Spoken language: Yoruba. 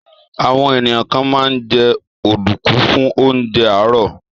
Àwọn ènìyàn kan máa ń jẹ ọ̀dùnkún fún oúnjẹ àárọ̀.